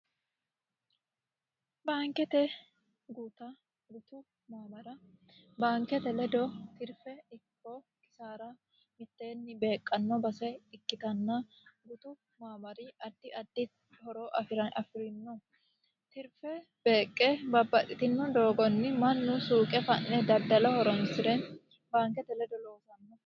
baankete guuta gutu maamara baankete ledo tirfe ikoo kisaara mitteenni beeqqanno base ikkitanna gutu maamari addi addi horoo afi'rino tirfe beeqqe babbaxitino doogonni mannu suuqe fa'ne daddala horonsi're baankete ledo loosanno